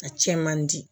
A cɛn man di